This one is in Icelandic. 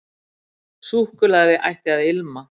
Súkkulaði ætti að ilma.